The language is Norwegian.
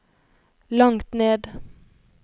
langt ned